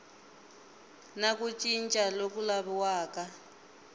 na ku cinca loku laviwaka